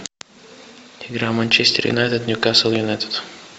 игра манчестер юнайтед ньюкасл юнайтед